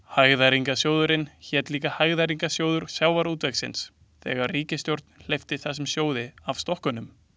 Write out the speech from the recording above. Hagræðingarsjóðurinn hét líka Hagræðingarsjóður sjávarútvegsins þegar fyrri ríkisstjórn hleypti þessum sjóði af stokkunum.